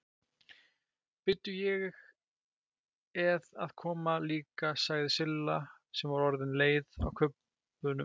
Bíddu, ég eð að koma líka sagði Silla sem var orðin leið á kubbunum.